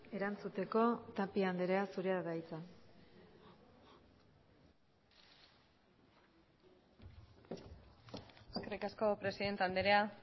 erantzuteko tapia andrea zurea da hitza eskerrik asko presidente andrea